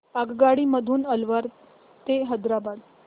आगगाडी मधून अलवार ते हैदराबाद